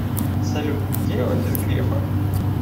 салют где офис грефа